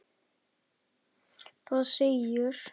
Það segir